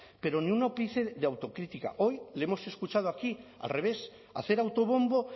pero ni un ápice de autocrítica hoy le hemos escuchado aquí al revés hacer autobombo